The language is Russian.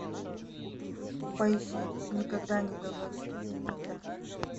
поищи никогда не говори никогда